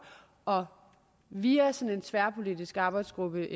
og via sådan en tværpolitisk arbejdsgruppe